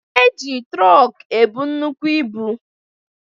E ji trọk ebu nnukwu ibu